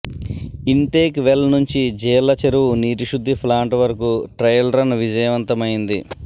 intake well నుంచి జీళ్ల చెరువు నీటిశుద్ధి ప్లాంటు వరకు ట్రయల్ రన్ విజయవంతమైంది